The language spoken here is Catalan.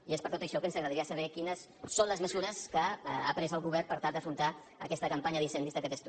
i és per tot això que ens agradaria saber quines són les mesures que ha pres el govern per tal d’afrontar aquesta campanya d’incendis d’aquest estiu